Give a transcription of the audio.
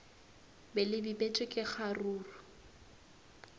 be le bipetšwe ka kgaruru